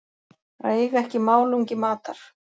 Að eiga ekki málungi matar